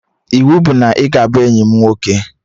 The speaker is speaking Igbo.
Iwu bụ na ị ga-abụ enyi m nwoke!